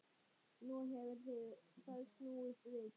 Nú hefur það snúist við.